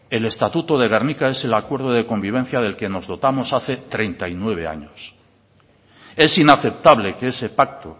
el estatuto de gernika es el acuerdo de convivencia del que nos dotamos hace treinta y nueve años es inaceptable que ese pacto